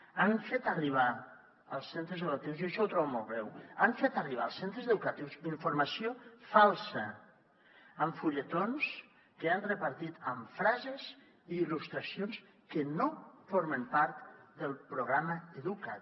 han fet arribar als centres educatius jo això ho trobo molt greu informació falsa amb fulletons que han repartit amb frases i il·lustracions que no formen part del programa coeduca’t